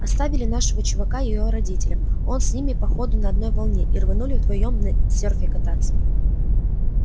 оставили нашего чувака её родителям он с ними по ходу на одной волне и рванули вдвоём на сёрфе кататься